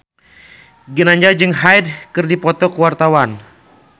Ginanjar jeung Hyde keur dipoto ku wartawan